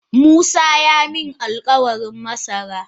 Musa yaamin alkawarin masara.